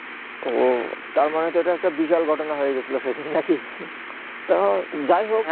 তা মানে তো এইটা একটা বিশাল ঘটনা হয়ে গেছিলো না সেই দিন না কি তো যায় হোক